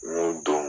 N y'o don